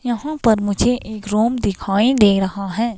यहां पर मुझे एक रूम दिखाई दे रहा है.